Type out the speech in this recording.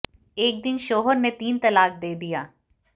एक दिन शौहर ने तीन तलाक दे दिया